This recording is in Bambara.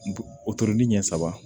O toronni ɲɛ saba